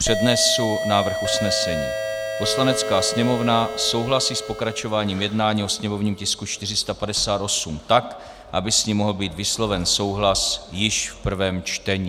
Přednesu návrh usnesení: "Poslanecká sněmovna souhlasí s pokračováním jednání o sněmovním tisku 458 tak, aby s ním mohl být vysloven souhlas již v prvém čtení."